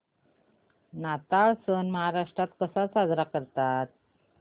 नाताळ सण महाराष्ट्रात कसा साजरा करतात